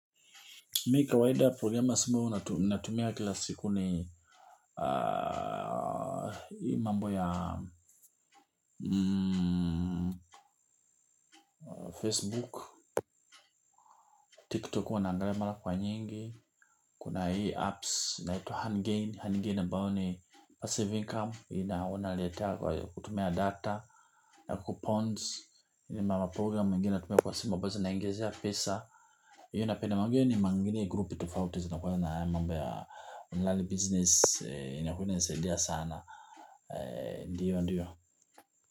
Mi kawaida progama simbo huu natumia kila siku ni hii mambo ya Facebook, TikTok huwa naangalia mara kwa nyingi. Kuna hii apps naitwa handgain, handgain ambao ni passive income. Hii na wana letea kwa kutumia data, ya coupons. Hii mambo ya program mingine natumia kwa simu, abazo naingizia pesa. Hii unapenda manguyo ni mangini grup tufauti za nakuwa ya mambo ya online business in akuwa inasaidia sana ndiyo ndiyo.